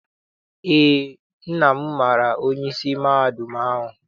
Eé, nna m maara onyeisi mahadum ahụ.